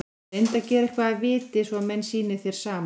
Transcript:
Reyndu að gera eitthvað að viti, svo menn sýni þér samúð.